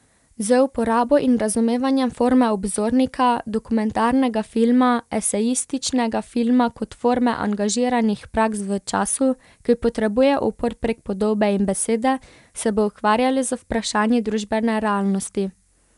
Z uporabo in razumevanjem forme obzornika, dokumentarnega filma, esejističnega filma kot forme angažiranih praks v času, ki potrebuje upor prek podobe in besede, se bo ukvarjala z vprašanji družbene realnosti.